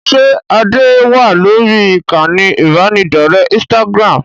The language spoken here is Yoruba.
Ṣé Adé wá lórí ìkànnì ibanidọ̀rẹ́ Instagram?